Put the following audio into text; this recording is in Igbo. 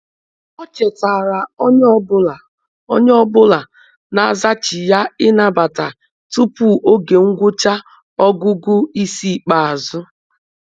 O chetaara onye ọ bụla onye ọ bụla na zachigha ịnabata tupu oge ngwụcha ọgụgụ ịsị ikpeazụ.